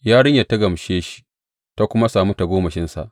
Yarinyar ta gamshe shi, ta kuma sami tagomashinsa.